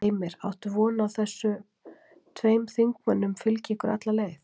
Heimir: Áttu von á að þessi tveir þingmenn fylgi ykkur alla leið?